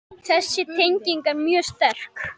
Þessi tenging er mjög sterk.